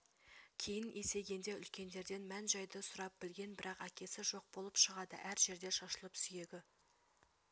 кейін есейгенде үлкендерден мән-жайды сұрап білген бірақ әкесі жоқ болып шығады әр жерде шашылып сүйегі